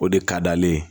O de ka d'ale ye